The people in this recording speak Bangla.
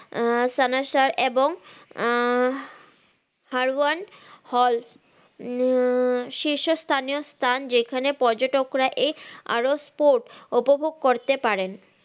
আহ সানাসা এবং আহ হারওয়ান হল না~ এ শীষ স্থানীয় স্থান যেখানে পর্যটকরা এর আরো spot উপভোগ করতে পারেন